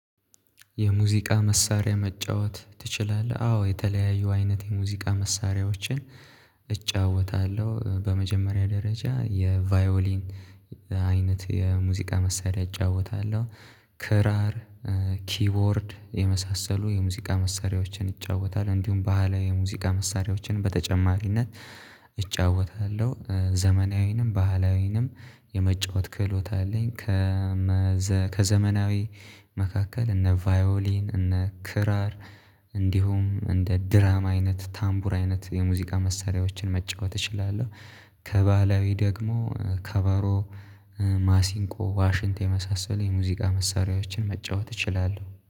የሙዚቃ መሳሪያ መጫወት ትችላለህ? አዎ የተለያዩ አይነት የሙዚቃ መሳሪያዎችን እጫወታለሁ። በመጀመሪያ ደረጃ የቫዮሊን አይነት የሙዚቃ መሳሪያ እጫወታለሁ። ክራር ኪቦርድ የመሳሰሉ የሙዚቃ መሳሪያዎችን ይጫወታል። እንዲሁም ባህላዊ የሙዚቃ መሳሪያዎችን በተጨማሪነት እጫወታለሁ ዘመናዊንም ባህላዊንም የመጫወት ክህሎት አለኝ። ከዘመናዊ መካከል እነ ቫዮሊን እነ ክራር እንዲሁም እንደ ድራማ አይነት ታምቡር አይነት የሙዚቃ መሳሪያዎችን መጫወት እችላለሁ። ከባህላዊ ደግሞ ከባሮ ማሲንቆ ዋሽንት መሳሰል የሙዚቃ መሳሪያዎችን መጫወት እችላለሁ